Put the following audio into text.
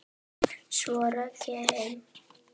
Svo rauk ég heim.